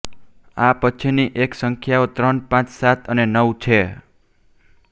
આ પછીની એક સંખ્યાઓ ત્રણ પાંચ સાત અને નવ છે